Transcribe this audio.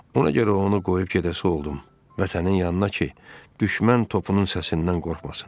Ona görə onu qoyub gedəsi oldum Vətənin yanına ki, düşmən topunun səsindən qorxmasın.